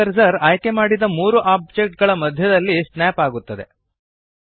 3ದ್ ಕರ್ಸರ್ ಆಯ್ಕೆಮಾಡಿದ ಮೂರು ಓಬ್ಜೆಕ್ಟ್ ಗಳ ಮಧ್ಯದಲ್ಲಿ ಸ್ನ್ಯಾಪ್ ಆಗುತ್ತದೆ